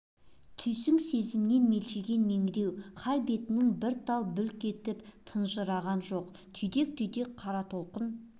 түйсңк-сезімнен мелшиген меңіреу хал бетінің бір тал бүлк етіп тыжырынған жоқ түйдек-түйдек қара толқын